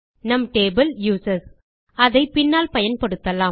நம் table users அதை பின்னால் பயன்படுத்தலாம்